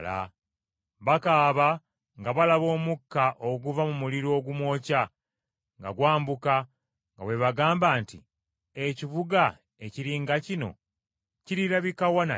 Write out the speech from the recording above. Bakaaba nga balaba omukka oguva mu muliro ogumwokya, nga gwambuka, nga bwe bagamba nti, ‘Ekibuga ekiri nga kino kirirabika wa nate?’